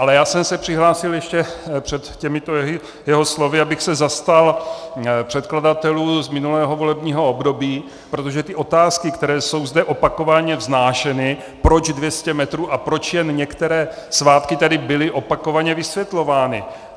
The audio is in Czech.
Ale já jsem se přihlásil ještě před těmito jeho slovy, abych se zastal předkladatelů z minulého volebního období, protože ty otázky, které jsou zde opakovaně vznášeny, proč 200 metrů a proč jen některé svátky, tady byly opakovaně vysvětlovány.